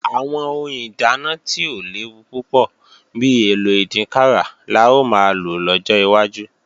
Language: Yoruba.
Àwọn ohun ìdáná tí ò léwu púpọ̀ bi èlò ìdínkàrà la ó máa lò lọ́jọ́ wájú